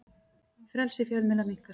Frelsi fjölmiðla minnkar